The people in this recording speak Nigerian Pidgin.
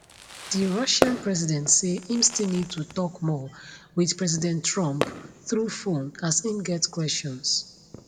di russian president say im still need to tok more wit president trump through phone as im get questions